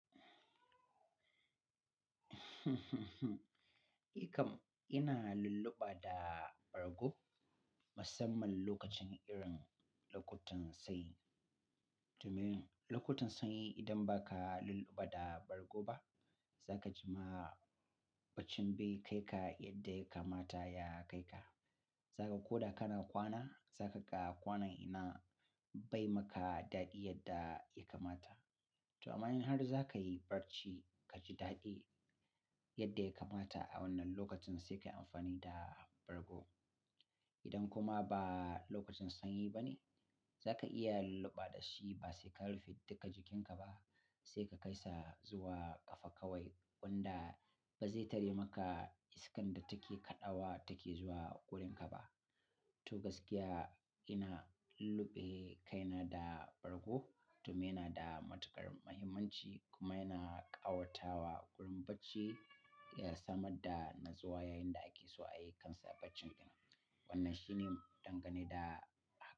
Eh kam, ina lulluɓa da bargo musamman lokacin irin lokutan sanyi. Domin lokutan sanyi idan ba ka lulluɓa da bargo ba, za ka ji ma bacin bai kai ka yadda ya kamata ya kai ka. Za ka ko da kana kwana, za ka ga kwanan yana bai maka daɗi yadda ya kamata. To amma in har za ka yi barci ka ji daɗi yadda ya kamata a wannan lokacin, sai ka yi amfani da bargo. Idan kuma ba lokacin sanyi ba ne, za ka iya lulluɓa da shi ba sai ka rufe duka jikinka ba, sai ka kai sa zuwa ƙafa kawai wanda ba zai tare maka iskan da take kaɗawa take zuwa ƙurin ka ba. To gaskiya ina lulluɓe kaina da bargo domin yana da matuƙar muhimmanci kuma yana ƙawatawa ƙurin bacci, ya samar da nazuwa yayin da ake so a yi kansa bacin nan. Wannan shi ne dangane da.